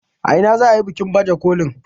a ina za a yi bikin bajekolin?